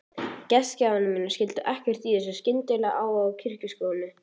Gestgjafar mínir skildu ekkert í þessum skyndilega áhuga á kirkjusókn.